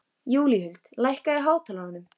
Júlíhuld, lækkaðu í hátalaranum.